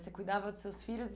Você cuidava dos seus filhos